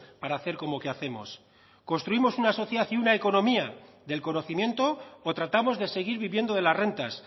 para hacer como que hacemos construimos una sociedad y una economía del conocimiento o tratamos de seguir viviendo de las rentas